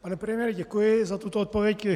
Pane premiére, děkuji za tuto odpověď.